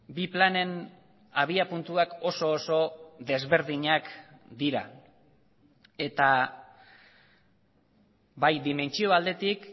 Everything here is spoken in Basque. bi planen abiapuntuak oso oso desberdinak dira eta bai dimentsio aldetik